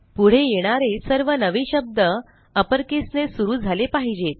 पुढे येणारे सर्व नवे शब्द अपर केस ने सुरू झाले पाहिजेत